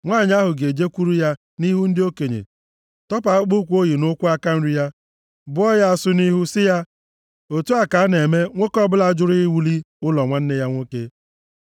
nwanyị ahụ ga-ejekwuru ya nʼihu ndị okenye, tọpụ akpụkpọụkwụ o yi nʼụkwụ aka nri ya, bụọ ya asụ nʼihu, sị ya, “Otu a ka a na-eme nwoke ọbụla jụrụ iwuli ụlọ nwanne ya nwoke.”